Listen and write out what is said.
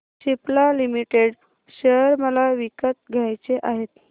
Cipla limited share मला विकत घ्यायचे आहेत